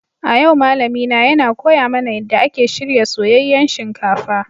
A yau malamina yana koya mana yadda ake shirya soyayyen shinkafa.